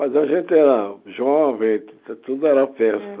Mas a gente era jovem, tu tudo era festa.